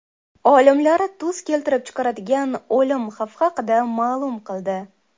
Olimlar tuz keltirib chiqaradigan o‘lim xavfi haqida ma’lum qildi.